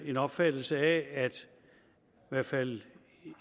en opfattelse af at i hvert fald